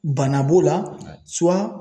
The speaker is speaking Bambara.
Bana b'o la